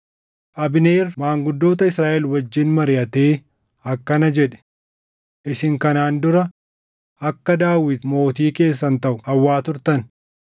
Abneer maanguddoota Israaʼel wajjin mariʼatee akkana jedhe; “Isin kanaan dura akka Daawit mootii keessan taʼu hawwaa turtan.